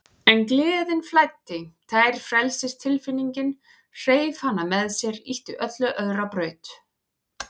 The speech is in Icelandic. En gleðin flæddi, tær frelsistilfinningin, hreif hana með sér, ýtti öllu öðru á braut.